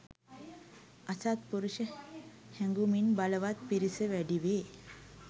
අසත්පුරුෂ හැඟුමින් බලවත් පිරිස වැඩිවේ.